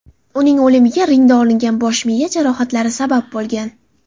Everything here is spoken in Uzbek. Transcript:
Uning o‘limiga ringda olingan bosh-miya jarohatlari sabab bo‘lgan.